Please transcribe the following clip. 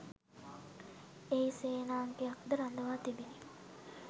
එහි සේනාංකයක්ද රඳවා තිබිණි